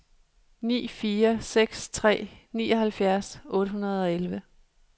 ni fire seks tre nioghalvfjerds otte hundrede og elleve